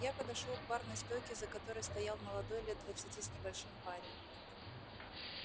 я подошёл к барной стойке за которой стоял молодой лет двадцати с небольшим парень